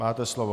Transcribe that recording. Máte slovo.